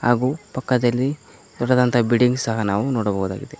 ಹಾಗು ಪಕ್ಕದಲ್ಲಿ ದೊಡ್ಡದಾದಂತ ಬಿಲ್ಡಿಂಗ್ ಸಹ ನಾವು ನೋಡಬಹುದು.